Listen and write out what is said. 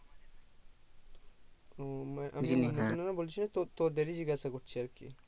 ও মানে তো তোদেরি জিজ্ঞাসা করছি আরকি